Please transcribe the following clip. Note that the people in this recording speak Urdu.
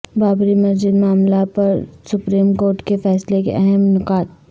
بابری مسجد معاملہ پر سپریم کورٹ کے فیصلے کے اہم نکات